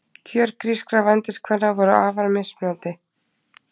Kjör grískra vændiskvenna voru afar mismunandi.